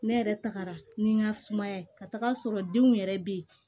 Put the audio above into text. Ne yɛrɛ tagara ni n ka sumaya ka taga sɔrɔ denw yɛrɛ bɛ yen